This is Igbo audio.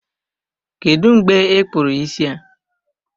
Kedụ mgbe I kpụrụ isi a?